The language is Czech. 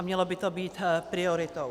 A mělo by to být prioritou.